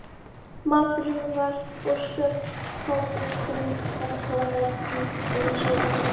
Maturinn var ósköp fábreyttur þessa vertíð eins og aðrar.